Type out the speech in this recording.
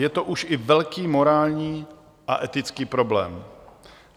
Je to už i velký morální a etický problém.